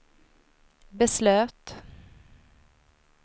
beslöt